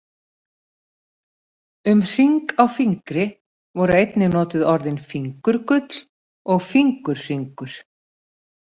Um hring á fingri voru einnig notuð orðin fingurgull og fingurhringur.